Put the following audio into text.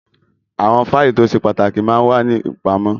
Àwọn fáìlì tó ṣe pàtàkì máa ń wà ní ìpamọ́